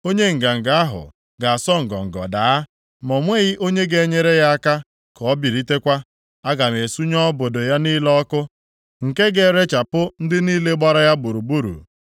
Onye nganga ahụ ga-asọ ngọngọ daa, ma o nweghị onye ga-enyere ya aka ka o bilitekwa. Aga m esunye obodo ya niile ọkụ, nke ga-erechapụ ndị niile gbara ya gburugburu.”